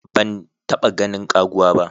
Ban taba ganin ƙaguwa ba.